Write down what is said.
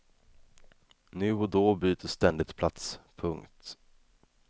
Nu och då byter ständigt plats. punkt